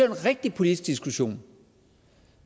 en rigtig politisk diskussion